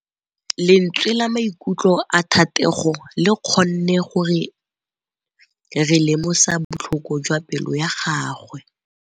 Lentswe la maikutlo a Thategô le kgonne gore re lemosa botlhoko jwa pelô ya gagwe.